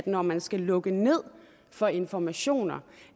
når man skal lukke ned for informationer